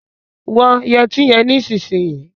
Wọ yẹtí yẹn nísìnyìí.